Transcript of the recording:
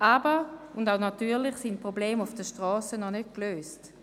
Und natürlich sind die Probleme auf den Strassen noch nicht gelöst.